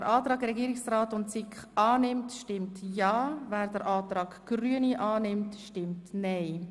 Wer den Antrag SiK und Regierungsrat annimmt, stimmt ja, wer den Antrag Grüne annimmt, stimmt nein.